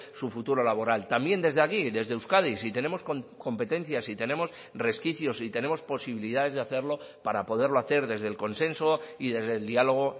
su futuro laboral también desde aquí desde euskadi si tenemos competencias si tenemos resquicios y tenemos posibilidades de hacerlo para poderlo hacer desde el consenso y desde el diálogo